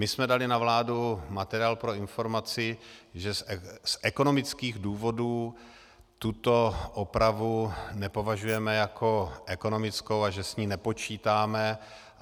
My jsme dali na vládu materiál pro informaci, že z ekonomických důvodů tuto opravu nepovažujeme jako ekonomickou a že s ní nepočítáme.